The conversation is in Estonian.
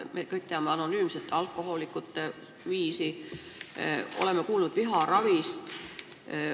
Me kõik teame anonüümseid alkohoolikuid, oleme kuulnud viharavist.